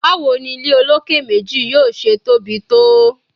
Bawo ni ile oloke meji yoo ṣe tobi to?